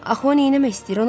Axı nə etmək istəyir o?